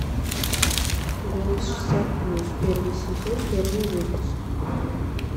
голос шестьдесят плюс первый сезон первый выпуск